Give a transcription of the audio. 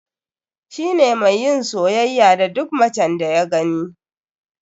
Shi ne mai yin soyayya da duk macen da ya gani.